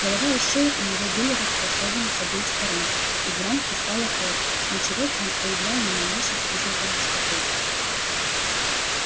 голова и шея у него были располосованы с обеих сторон из ран хлестала кровь но черокин не проявлял ни малейших признаков беспокойства